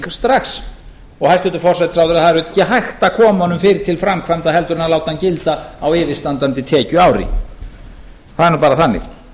strax og hæstvirtur forsætisráðherra það er ekki hægt að koma honum fyrr til framkvæmda heldur en að láta hann gilda á yfirstandandi tekjuári það er nú bara þannig